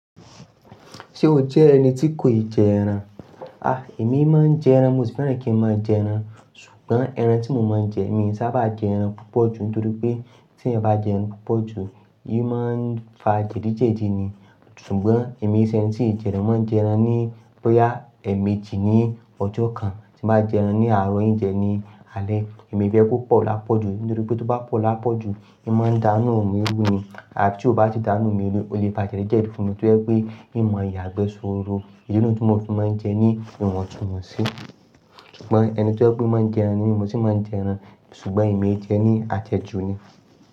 Ṣé o jẹ́ ẹni tí kò ì jẹ ẹran? A! Èmi máa ń jẹ ẹran, mo sì fẹ́ràn kí ń máa jẹ ẹran. Ṣùgbọ́n ẹran tí mo máa ń jẹ, èmi sábà jẹ ẹran púpọ̀ ju nítorí pé tí ẹ bá jẹ ẹran púpọ̀ ju, ì máa ń fa jẹ̀dí jẹ̀dí ni. Ṣùgbọ́n èmi ṣẹ̀yẹ́n sì jẹ ẹran, mó ń jẹ ẹran ní bóyá èmi jí ní ọjọ́ kan tí màá jẹ ẹran ní àárọ̀ yìí jẹ ní alé. Èmi fẹ́ kó pọ̀ lápọ̀ ju nítorí pé tó bá pọ̀ lápọ̀ ju, ì máa ń dá inú mi rú ni. Àbi tí ó bá ti dáná òórùn mi lú, ó lè fa jẹ̀dí jẹ̀dí fún mi tí ó yẹ pé ì máa yàgbẹ́ sọ́rọ́. Ìdí náà ni tí mo fi máa ń jẹ ní ìwọ̀ntúnwọ̀nsí. Ṣùgbọ́n ẹni tí ó pé máa ń jẹ ẹran ni, mo sì máa ń jẹ ẹran ṣùgbọ́n èmi jẹ ẹran ní ajẹ ju ni.